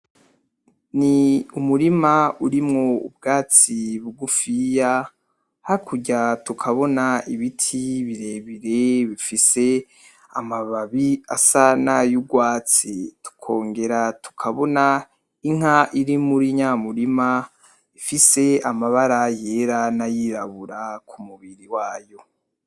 Ni umurima urimwo ubwatsi bugufiya, hakurya tukabona ibiti birebire bifise amababi asa n'ayugwatsi, tukongera tukabona inka iri muri nya murima ifise amabara yera; n'ayirabura ku mubiri wayo.